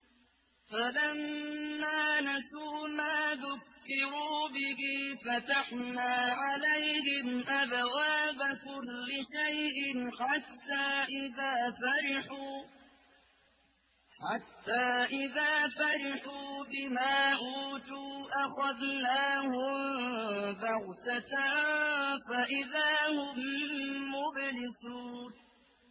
فَلَمَّا نَسُوا مَا ذُكِّرُوا بِهِ فَتَحْنَا عَلَيْهِمْ أَبْوَابَ كُلِّ شَيْءٍ حَتَّىٰ إِذَا فَرِحُوا بِمَا أُوتُوا أَخَذْنَاهُم بَغْتَةً فَإِذَا هُم مُّبْلِسُونَ